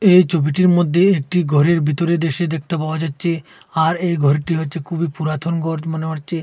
এই ছবিটির মধ্যে একটি ঘরের ভিতরের দৃশ্য দেখতে পাওয়া যাচ্ছে আর এই ঘরটি হচ্ছে খুবই পুরাতন ঘর মনে হচ্ছে।